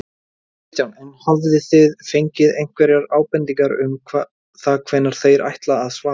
Kristján: En hafið þið fengið einhverjar bendingar um það hvenær þeir ætla að svara?